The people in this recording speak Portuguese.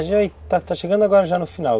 A gente está chegando agora já no final.